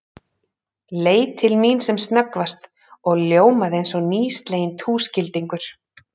Leit til mín sem snöggvast og ljómaði eins og nýsleginn túskildingur.